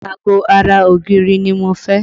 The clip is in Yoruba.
Ago ara ògiri ni mo fẹ́